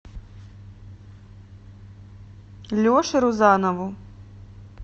леше рузанову